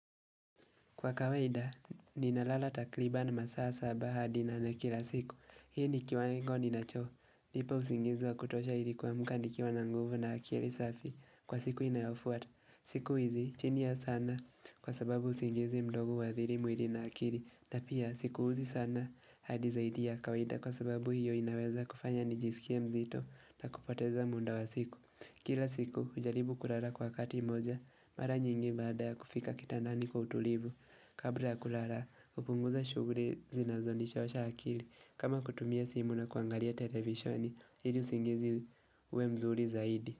Kwa kawaida, ninalala takribani masaa saba hadi nane kila siku. Hii ni kiwango ni nacho. Lipa usingizi wa kutosha hili kuamka nikiwa na nguvu na akili safi. Kwa siku inayofuata. Siku hizi, chini ya saa nane kwa sababu usingizi mdogo uathiri mwili na akili. Napia, sikuuzi sana hadi zaidi ya kawaida kwa sababu hiyo inaweza kufanya nijisikie mzito na kupoteza muda wa siku. Kila siku, hujaribu kulala kwa wakati mmoja. Mara nyingi baada ya kufika kitandani kwa utulivu. Kabla ya kulala hupunguza shughuli zinazo nichosha akili kama kutumia simu na kuangalia televisheni hili usingizi uwe mzuri zaidi.